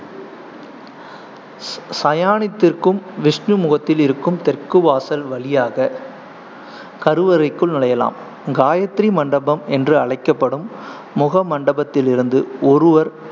சயானித்திருக்கும் விஷ்ணு முகத்தில் இருக்கும் தெற்கு வாசல் வழியாக கருவறைக்குள் நுழையலாம். காயத்ரி மண்டபம் என்றும் அழைக்கப்படும் முகமண்டபத்திலிருந்து ஒருவர்